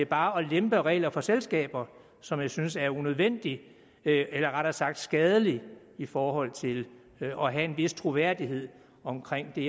bare at lempe regler for selskaber som jeg synes er unødvendige eller rettere sagt skadelige i forhold til at have en vis troværdighed omkring det